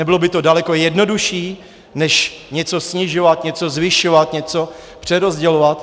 Nebylo by to daleko jednodušší než něco snižovat, něco zvyšovat, něco přerozdělovat?